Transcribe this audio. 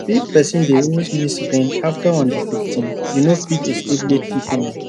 if person dey always miss rent after on the 15th you no fit escape late fee payment